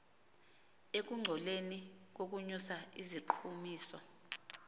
ekungcoleni nokunyusa iziqhumiso